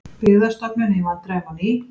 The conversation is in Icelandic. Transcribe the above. Byggðastofnun í vandræðum á ný